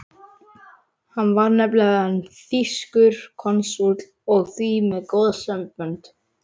Hann var nefnilega þýskur konsúll og því með góð sambönd.